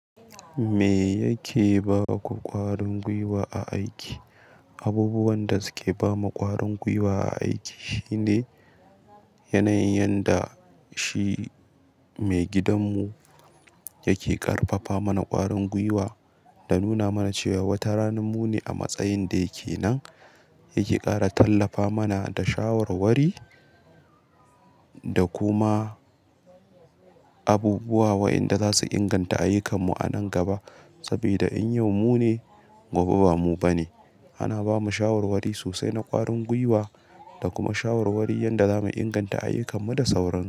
Me yake ba ku ƙwarin gwiwa a aiki? Abubuwan da suke ba mu ƙwarin gwiwa a aiki shine yanayin yanda shi maigidanmu yake ƙarfafa mana ƙwarin gwiwa da nuna mana cewa wata rana mu ne a matsayin da yake nan, yake ƙara tallafa mana da shawarwari da kuma abubuwa waɗanda za su inganta ayyukan mu a nan gaba. Saboda in yau mu ne, gobe ba mu ba ne. Ana bamu shawarwari sosai na ƙwarin gwiwa da kuma shawarwari na yadda zamu inganta ayyukan mu da sauran--